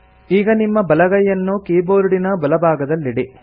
ಈಗ ನಿಮ್ಮ ಬಲಗೈಯನ್ನು ಕೀಬೋರ್ಡಿನ ಬಲಭಾಗದಲ್ಲಿಡಿ